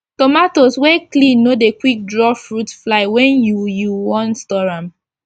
tomatoes wey clean no dey quick draw fruit fly wen you you wan store am